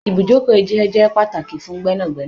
Ibùjókòó isẹ je pàtàkì fún Gbẹ́nàgbẹ́nà